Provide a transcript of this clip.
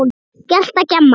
Gelta, gjamma.